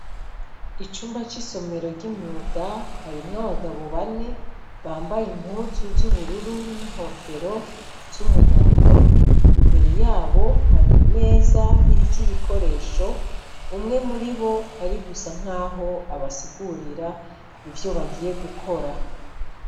Icumba cisomero c’imyuga, kirimw’abagabo bane, bambaye impuzu z’ubururu n’inkofero z’umuhondo, imbere yabo har’imeza iriko ibikoresho, umwe muribo ari gusa nkaho abasigurira ivyo bagiye gukora.